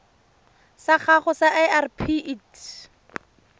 sa gago sa irp it